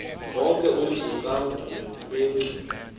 wonke umzi kangubengcu